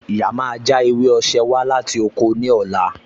Ìyá máa já ewé osè wá láti oko ní ọ̀la